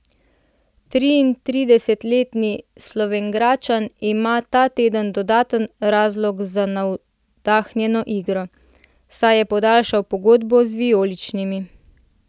Triintridesetletni Slovenjgradčan ima ta teden dodaten razlog za navdahnjeno igro, saj je podaljšal pogodbo z vijoličnimi.